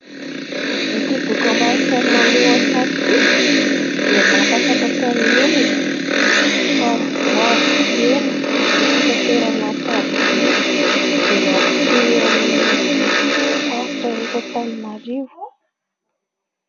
Ity dokam-barotra maneho an-tsary ity dia mampahafantatra ny olona fa hoavy tsy ho ela ny fitaterana tariby izay mampitohy an'ny faritra eto Antananarivo.